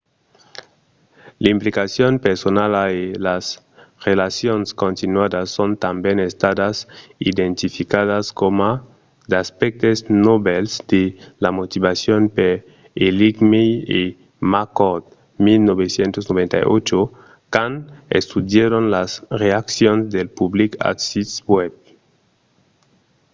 l'implicacion personala” e las relacions continuadas” son tanben estadas identificadas coma d'aspèctes novèls de la motivacion per eighmey e mccord 1998 quand estudièron las reaccions del public als sits web